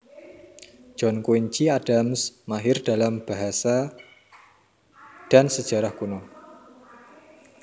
John Quincy Adams mahir dalam basa dan sejarah kuno